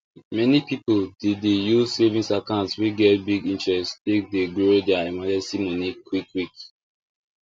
many people dey dey use savings account wey get big interest take dey grow their emergency money quick quick